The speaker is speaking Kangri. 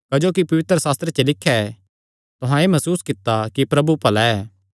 क्जोकि पवित्रशास्त्रे च लिख्या ऐ तुहां एह़ मसूस कित्ता कि प्रभु भला ऐ